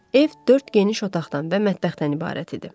Ev dörd geniş otaqdan və mətbəxdən ibarət idi.